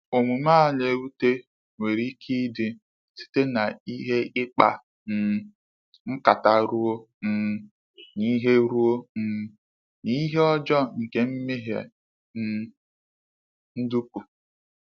Omume a na-ewute nwere ike ịdị site n’ihe ịkpa um nkata ruo um n’ihe ruo um n’ihe ọjọọ nke ime ihe um ndọkpụ.